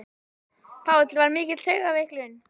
Páll: Var mikil taugaveiklun?